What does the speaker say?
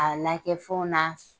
A lakɛ fɛnw na